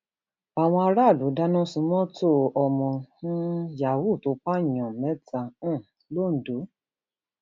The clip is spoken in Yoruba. àwọn aráàlú dáná sun mọtò ọmọ um yahoo tó pààyàn mẹta um londo